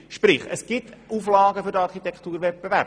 Sprich: Es gibt Auflagen für den Architekturwettbewerb.